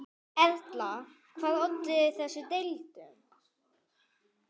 Erla, hvað olli þessum deilum?